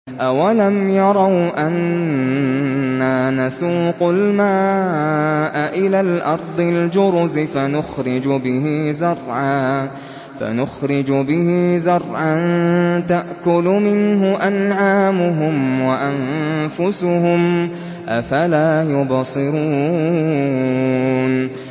أَوَلَمْ يَرَوْا أَنَّا نَسُوقُ الْمَاءَ إِلَى الْأَرْضِ الْجُرُزِ فَنُخْرِجُ بِهِ زَرْعًا تَأْكُلُ مِنْهُ أَنْعَامُهُمْ وَأَنفُسُهُمْ ۖ أَفَلَا يُبْصِرُونَ